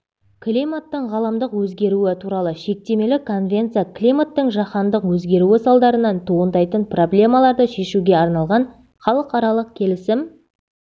климаттың ғаламдық өзгеруі туралы шектемелі конвенция климаттың жаһандық өзгеруі салдарынан туындайтын проблемаларды шешуге арналған халықаралық келісім